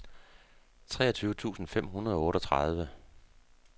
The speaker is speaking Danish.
treogtyve tusind fem hundrede og otteogtredive